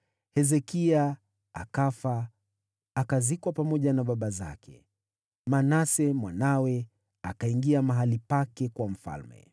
Hezekia akafa, akazikwa pamoja na baba zake. Naye Manase mwanawe akawa mfalme baada yake.